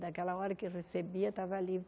Daquela hora que recebia, estava livre.